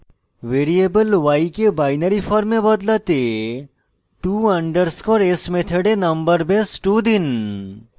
variable y কে binary form বদলাতে to _ s method number base 2 দিন